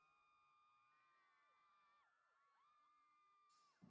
Helga Valdís.